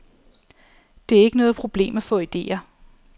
Det er ikke noget problem at få idéer.